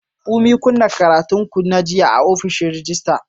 Funmi, kunna karatun ku na jiya a ofishin rejista.